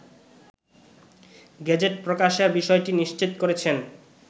gazette প্রকাশের বিষয়টি নিশ্চিত করেছেন